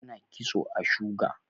ana kitso a shuga